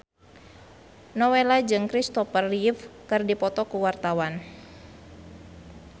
Nowela jeung Kristopher Reeve keur dipoto ku wartawan